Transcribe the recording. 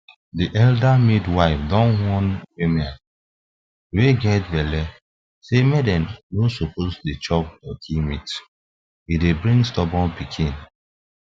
the elder midwife don warn woman wey get belle say them no suppose dey chop turkey meat e dey bring stubborn pikin